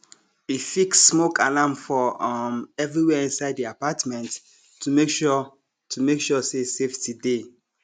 e fix smoke alarm for um everywhere inside the apartment to make sure to make sure say safety dey